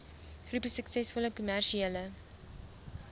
groepie suksesvolle kommersiële